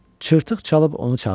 Çırtıq çalıb onu çağırdı.